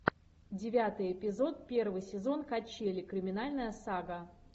девятый эпизод первый сезон качели криминальная сага